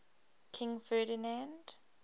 king ferdinand